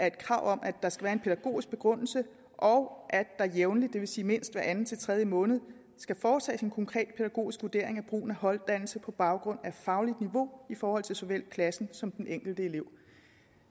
et krav om at der skal være en pædagogisk begrundelse og at der jævnligt det vil sige mindst hver anden til tredje måned skal foretages en konkret pædagogisk vurdering af brugen af holddannelse på baggrund af fagligt niveau i forhold til såvel klassen som den enkelte elev